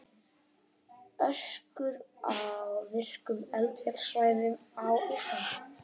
Öskjur á virkum eldfjallasvæðum á Íslandi.